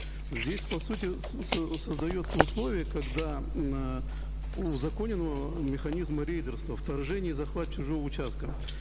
здесь по сути создается условие когда узаконен э механизм рейдерства вторжение и захват чужого участка